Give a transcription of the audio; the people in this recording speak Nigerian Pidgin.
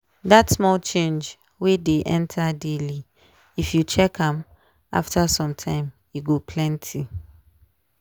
that small change wey dey enter daily if you check am after some time e go plenty.